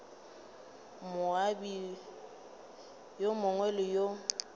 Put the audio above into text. moabi yo mongwe le yo